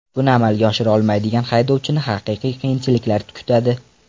Buni amalga oshira olmaydigan haydovchini haqiqiy qiyinchiliklar kutadi.